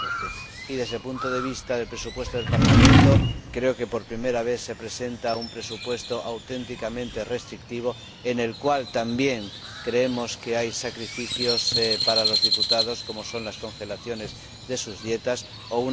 2012. Y, desde el punto de vista del presupuesto del Parlamento, creo que por primera vez se presenta un presupuesto auténticamente restrictivo, en el cual también creemos que hay sacrificios para los diputados, como son las congelaciones de sus dietas o una reducción general de sus gastos de viaje.